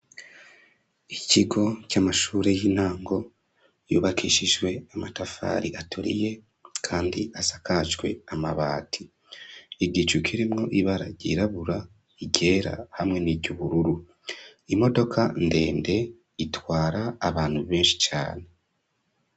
Ikigo c'amashure y'intango, yubakishijwe amatafari aturiye, kandi asakajwe amabati; igicu kirimwo ibara ryirabura, iryera, hamwe n'iry'ubururu; imodoka ndende, itwara abantu benshi cane.